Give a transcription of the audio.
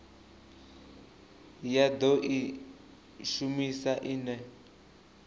ya do i shumisa ine